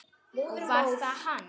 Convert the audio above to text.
Og var það hann?